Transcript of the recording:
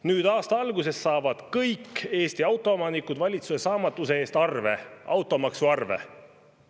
Nüüd, aasta alguses, saavad kõik Eesti autoomanikud valitsuse saamatuse eest arve – automaksuarve.